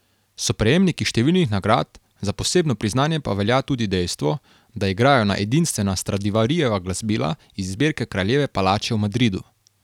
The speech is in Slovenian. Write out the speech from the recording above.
So prejemniki številnih nagrad, za posebno priznanje pa velja tudi dejstvo, da igrajo na edinstvena Stradivarijeva glasbila iz zbirke Kraljeve palače v Madridu.